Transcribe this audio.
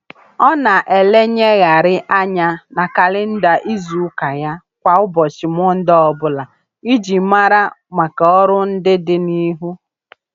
Ọ na-elenyegharị anya na kalịnda izuụka ya kwa ụbọchị Mọnde ọbụla iji mara maka ọrụ ndị dị n'ihu.